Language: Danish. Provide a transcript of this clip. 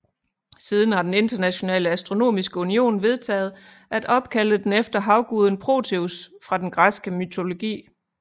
Siden har den Internationale Astronomiske Union vedtaget at opkalde den efter havguden Proteus fra den græske mytologi